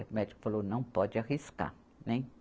O médico falou, não pode arriscar, nem